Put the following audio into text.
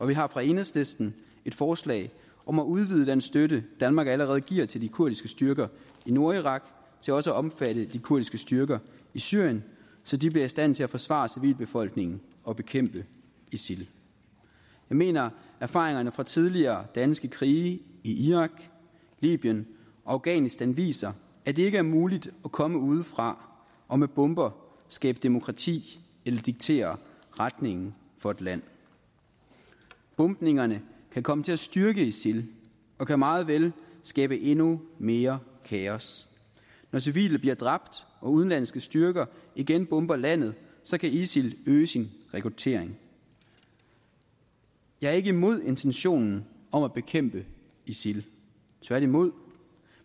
vi har fra enhedslisten et forslag om at udvide den støtte danmark allerede giver til de kurdiske styrker i nordirak til også at omfatte de kurdiske styrker i syrien så de bliver i stand til at forsvare civilbefolkningen og bekæmpe isil jeg mener at erfaringerne fra tidligere danske krige i irak libyen og afghanistan viser at det ikke er muligt at komme udefra og med bomber skabe demokrati eller diktere retningen for et land bombningerne kan komme til at styrke isil og kan meget vel skabe endnu mere kaos når civile bliver dræbt og udenlandske styrker igen bomber landet kan isil øge sin rekruttering jeg er ikke imod intentionen om at bekæmpe isil tværtimod